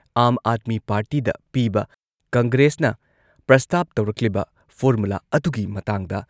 ꯑꯥꯝ ꯑꯥꯗꯃꯤ ꯄꯥꯔꯇꯤꯗ ꯄꯤꯕ ꯀꯪꯒ꯭ꯔꯦꯁꯅ ꯄ꯭ꯔꯁꯇꯥꯞ ꯇꯧꯔꯛꯂꯤꯕ ꯐꯣꯔꯃꯨꯂꯥ ꯑꯗꯨꯒꯤ ꯃꯇꯥꯡꯗ